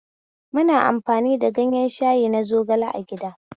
Muna amfani da ganyen shayi na zogale a gida